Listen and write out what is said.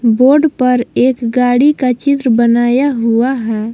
Board पर एक गाड़ी का चित्र बनाया हुआ है।